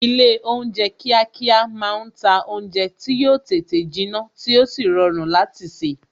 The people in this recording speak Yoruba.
Ilé oúnjẹ kíákíá máa ń ta oúnjẹ tí yo tètè jinna tí ó sì rọrùn láti se